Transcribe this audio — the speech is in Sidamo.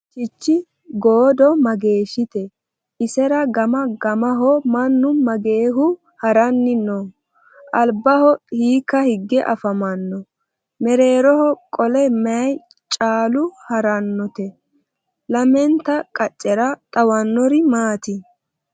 Chichi goodo mageeshitte? isera gama gamaho mannu mageehu haranni nooho? alibba hiikka hige afammanno? Mereerroho qole mayi callu harannotte? Lamennte qacera xawannori maati?